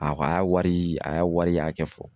A ko a y'a wari a y'a wari hakɛ fɔ.